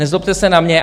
Nezlobte se na mě.